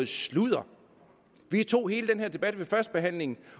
sludder vi tog hele den her debat ved førstebehandlingen